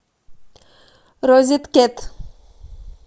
розеткед